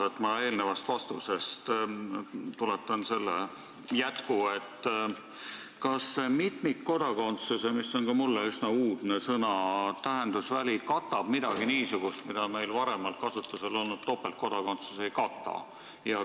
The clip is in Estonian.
Ma tuletan eelnevast vastusest jätkuküsimuse: kas ka mulle üsna uudse sõna "mitmikkodakondsus" tähendusväli katab midagi niisugust, mida meil varem kasutusel olnud "topeltkodakondsus" ei kata?